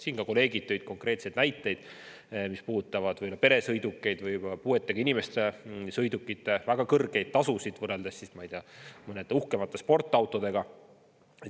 Siin kolleegid tõid konkreetseid näiteid, mis puudutavad peresõidukeid ja puuetega inimeste sõidukite väga kõrgeid tasusid võrreldes mõnede uhkemate sportautodega.